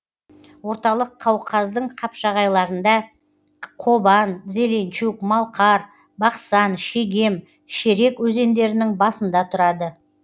орталық қауқаздың қапшағайларында қобан зеленчук малқар бақсан шегем шерек өзендерінің басында тұрады